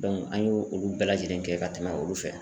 an y'o olu bɛɛ lajɛlen kɛ ka tɛmɛ olu fɛ